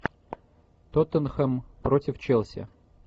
тоттенхэм против челси